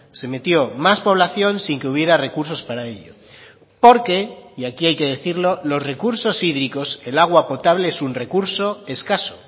se metió más población sin que hubiera recursos para ello porque y aquí hay que decirlo los recursos hídricos el agua potable es un recurso escaso